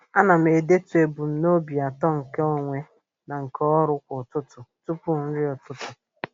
A na m edetu ebumnobi atọ nke onwe na nke ọrụ kwa ụtụtụ tụpụ nri ụtụtụ.